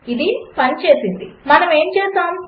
ఇది పనిచేసింది మనము ఏమి చేసాము